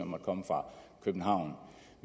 måtte komme fra københavn